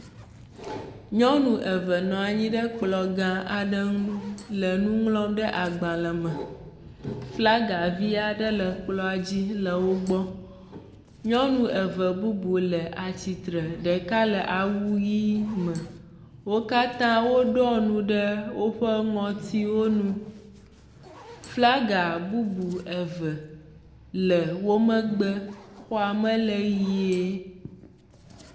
Nyɔnu eve nɔ anyi ɖe kplɔ gã aɖe nu le nu ŋlɔm ɖe agblae me. Flaga via ɖe le kplɔa dzi le wo gbɔ. Nyɔnu eve bubu le atsitre. Ɖeka le awu ʋi me. Wo katã wo ɖɔ nu ɖe woƒe ŋutiwo nu. Flaga bubu eve le wo megbe. Xɔa me le ʋie.